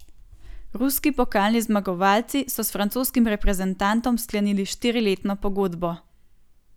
Ruski pokalni zmagovalci so s francoskim reprezentantom sklenili štiriletno pogodbo.